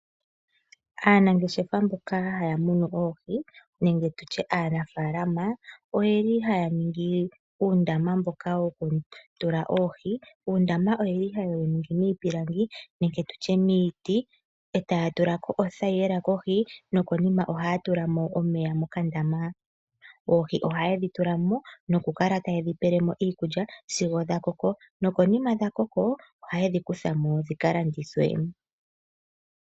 Aanangeshefa mboka haya munu oohi nenge tu tye aanafaalama ohaya ningi uundama mboka wokutula oohi. Uundama ohaye wu ningi miipilangi nenge niiti e taya tula ko othayila kohi nokonima ohaya tula mo omeya mokandama. Oohi ohaye dhi tula mo nokukala taye dhi pele mo iikulya sigo dha koko. Konima dha koka ohaye dhi kutha mo dhi ka landithwe.